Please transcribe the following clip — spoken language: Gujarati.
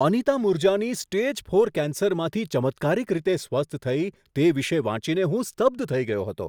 અનિતા મૂરજાની સ્ટેજ ફોર કેન્સરમાંથી ચમત્કારિક રીતે સ્વસ્થ થઈ તે વિશે વાંચીને હું સ્તબ્ધ થઈ ગયો હતો.